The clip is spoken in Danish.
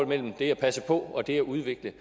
mellem det at passe på og det at udvikle